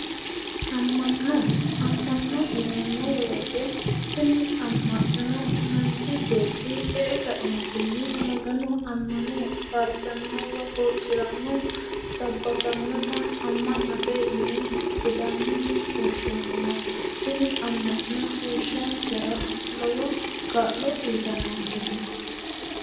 Ama'no. Ama'no yineemo woyite tini ama'no manichi beeti e"e kaeenittinni Magano ammane faarissanno woyi huuciranno sabakanota ama'note yine sidaamunni woshineemo tini ama'no heeshonikera lowo kaa'lo uyitannonikete